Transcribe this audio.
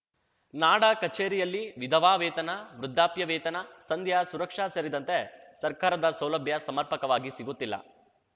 ನಾಡ ಕಚೇರಿಯಲ್ಲಿ ವಿಧವಾ ವೇತನ ವೃದ್ಧಾಪ್ಯ ವೇತನ ಸಂಧ್ಯಾ ಸುರಕ್ಷಾ ಸೇರಿದಂತೆ ಸರ್ಕಾರದ ಸೌಲಭ್ಯ ಸಮರ್ಪಕವಾಗಿ ಸಿಗುತ್ತಿಲ್ಲ